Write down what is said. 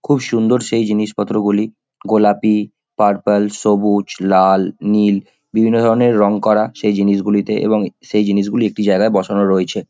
খুব সুন্দর সেই জিনিসপত্রগুলি। গোলাপি পার্পল সবুজ লাল নীল বিভিন্ন ধরণের রং করা সেই জিনিসগুলিতে এবং সেই জিনিসগুলি একটি জায়গায় বসানো রয়েছে।